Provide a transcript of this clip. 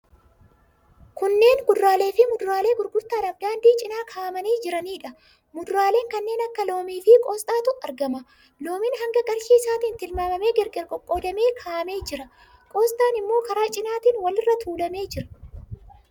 Kunneen kuduraalee fi muduraalee gurgurtaadhaaf daandii cina kaa'amanii jiraniidha. Muduraalee kanneen akka loomii fi qoosxaatu argama. Loomiin hanga qarshii isaatiin tilmaamamee gargar qoqqoodamee kaa'amee jira. Qoosxaan immoo karaa cinaatiin walirra tuulamee jira.